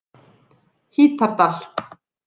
Hítardal